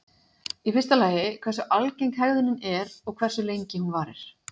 Í fyrsta lagi hversu algeng hegðunin er og hversu lengi hún varir.